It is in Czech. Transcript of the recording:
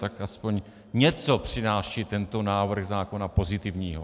Tak aspoň něco přináší tento návrh zákona pozitivního.